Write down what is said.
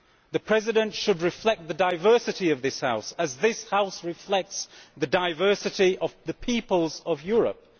The President should reflect the diversity of this House, as this House reflects the diversity of the peoples of Europe.